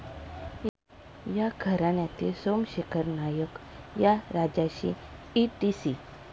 या घराण्यातील सोमशेखर नायक या राजाशी ईटीसी.